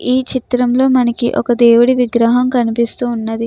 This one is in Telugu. ఈ చిత్రంలో మనకి ఒక దేవుడి విగ్రహం కనిపిస్తూ ఉన్నది.